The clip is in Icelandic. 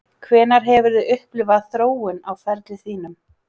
Hvenær hefurðu upplifað þróun á ferli þínum?